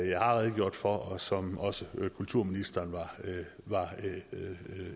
jeg har redegjort for og som også kulturministeren var